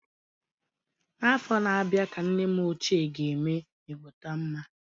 N'afọ na-abịa ka nne m ochie ga-eme ịgbọtọmma.